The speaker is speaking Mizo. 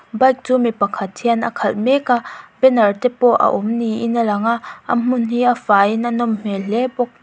bike chu mi pakhat hian a khalh mek a banner te pawh a awm niin a lang a a hmun hi a faiin a nawm hmel hle bawk.